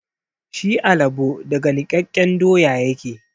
Shi alabo daga nikkaken doya yake.